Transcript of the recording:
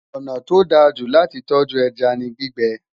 ọnà tó dá jù láti tọju ẹja ní gbígbé